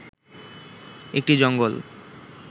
একটি জঙ্গল